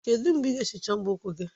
Kedu mgbe ị ga-ehicha mbọ ụkwụ gị?